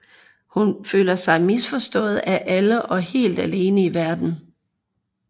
Hun føler sig misforstået af alle og helt alene i verden